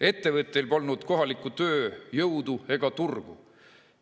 Ettevõtteil polnud kohalikku tööjõudu ega turgu.